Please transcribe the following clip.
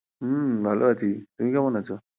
হম ভালো আছি, তুমি কেমন আছো?